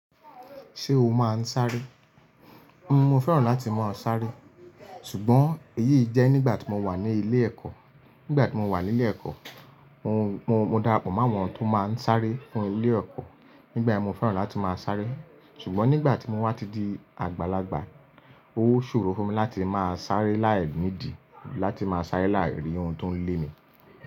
Ṣé o máa ń sáré? Mo fẹ́ràn láti máa sáré. Ṣùgbọ́n èyí jẹ́ nígbà tí mo wà ní ilé ẹ̀kọ́. Nígbà tí mo wà nílé ẹ̀kọ́, mo, mo, mo darapọ̀ mọ́ àwọn tó máa ń sáré fún ilé ẹ̀kọ́. Nígbà yẹ́n mo fẹ́ràn láti máa sáré. Ṣùgbọ́n nígbà tí mo wá ti di àgbàlagbà, ó ṣòro fún mi láti máa sáré láì ní ìdi, láti máa sáré láìrí ohun tó ń lé mi.